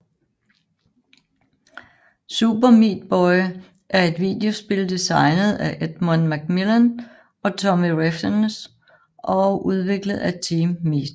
Super Meat Boy er et videospil designet af Edmund McMillen og Tommy Refenes og udviklet af Team Meat